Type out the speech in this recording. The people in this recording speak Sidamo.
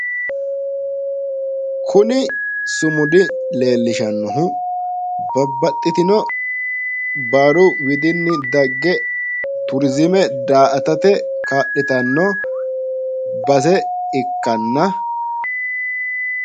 Kuni sumudi leellishannohu babbaxitino baaru widinni dagge turizime daa"atate kaa'litanno base ikkanna..